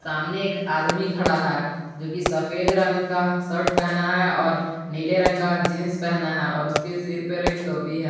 तामने एक आदमी खड़ा है जो की सफेद रंग का शर्ट पहना है और उसके सिर पर एक टोपी है।